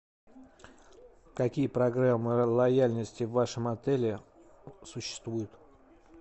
какие программы лояльности в вашем отеле существуют